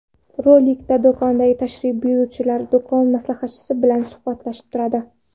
Rolikda do‘konga tashrif buyuruvchilar do‘kon maslahatchisi bilan suhbatlashib turadi.